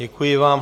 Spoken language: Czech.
Děkuji vám.